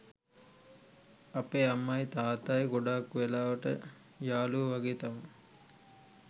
අපේ අම්මයි තාත්තයි ගොඩක් වෙලාවට යාලුවෝ වගේ තමා